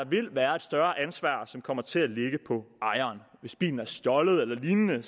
vil være et større ansvar som kommer til at ligge på ejeren hvis bilen er stjålet eller lignende